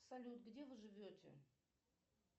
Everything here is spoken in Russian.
салют где вы живете